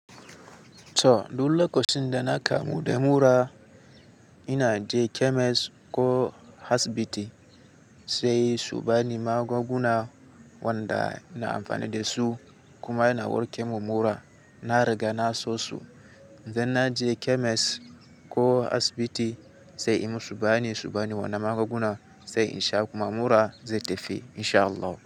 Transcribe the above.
To, duk lokacin da na kamu da mura ina je chemist ko hasibiti sai su bani magunguna wanda ina amfani da su kuma ina warke mu mura. Na riga na sosu in dan na je chemist ko asibiti sai in musu bayani su bani wani magunguna sai in sha kuma mura zai tafi insha Allah.